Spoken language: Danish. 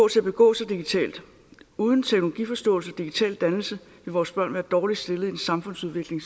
til at begå sig digitalt uden teknologiforståelse og digital dannelse vil vores børn være dårligt stillet i en samfundsudvikling